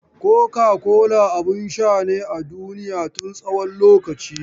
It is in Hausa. Coca-cola abin sha ne a duniya tun tsawon lokaci.